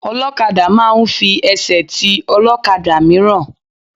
Ọlọ́kadà máa ń fi ẹsẹ̀ ti ọ̀kadà mìíràn.